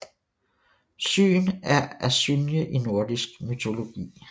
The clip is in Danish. Syn er asynje i nordisk mytologi